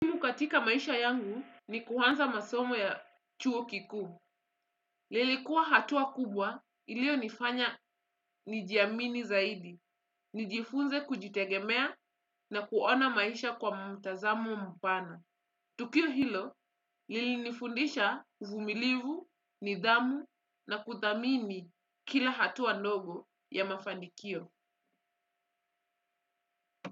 Katika maisha yangu ni kuanza masomo ya chuo kikuu. Lilikuwa hatua kubwa ilionifanya nijiamini zaidi. Nijifunze kujitegemea na kuona maisha kwa mtazamo mpana. Tukio hilo, lilinifundisha uvumilivu, nidhamu na kuthamini kila hatua ndogo ya mafanikio.